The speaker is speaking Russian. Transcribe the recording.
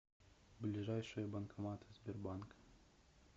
ближайшие банкоматы сбербанка